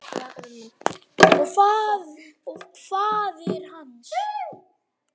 Og faðir hans?